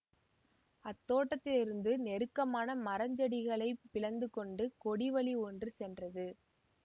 அத்தோட்டத்திலிருந்து நெருக்கமான மரஞ்செடிகளைப் பிளந்து கொண்டு கொடி வழி ஒன்று சென்றது